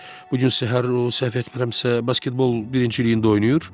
Bu gün səhər, o, səhv etmirəmsə, basketbol birinciliyində oynayır.